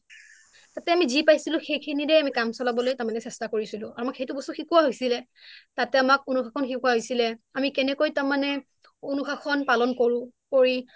তাতে আমি যি পাইছিলো সেইখিনিৰে আমি কাম চলাবলৈ তাৰ মানে চেষ্টা কৰিছিলোঁ আৰু আমাক সেইটো বস্তু শিকোৱা হৈছিলে তাতে আমাক , শিকোৱা হৈছিলে আমি কেনেকৈ তাৰ মানে অনুশাসন পালন কৰোঁ কৰি